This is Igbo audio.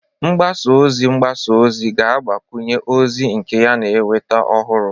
mgbasa ozi mgbasa ozi ga-agbakwunye ozi nke ya na ịnweta ọhụrụ